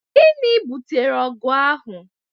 Gịnị bụtere ọgụ ahụ?